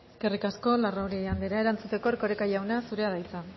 eskerrik asko larrauri andrea erantzuteko erkoreka jauna zurea da hitza